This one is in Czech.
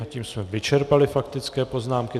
A tím jsme vyčerpali faktické poznámky.